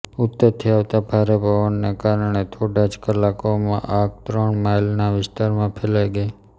ઉત્તરથી આવતા ભારે પવનને કારણે થોડા જ કલાકોમાં આગ ત્રણ માઈલના વિસ્તારમાં ફેલાઈ ગઈ